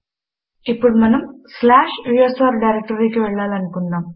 ఇప్పుడు మనం slash USR డైరెక్టరీకి వెళ్ళాలి అనుకుందాం